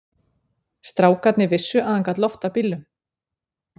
Strákarnir vissu að hann gat loftað bílum.